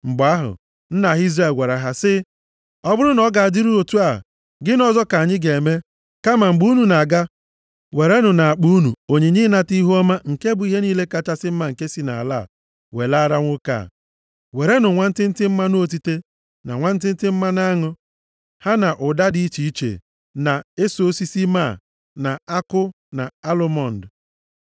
Mgbe ahụ nna ha Izrel gwara ha sị, “Ọ bụrụ na ọ ga-adịrịrị otu a, gịnị ọzọ ka anyị ga-eme. Kama mgbe unu na-aga, werenụ nʼakpa unu onyinye ịnata ihuọma nke bụ ihe niile kachasị mma nke si nʼala a welaara nwoke a. Werenụ nwantịntị mmanụ otite, na nwantịntị mmanụ aṅụ, ha na ụda dị iche iche, na eso osisi máá, na akụ, na alụmọnd.